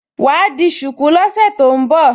Wà á di ṣùkú lọ́sẹ̀ tó ń bọ̀